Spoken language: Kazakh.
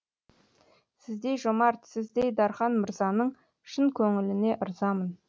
сіздей жомарт сіздей дархан мырзаның шын көңіліне ырзамын